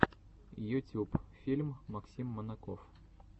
ютюб фильм максим манаков